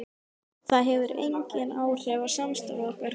Það hefði engin áhrif á samstarf okkar hvar ég bý.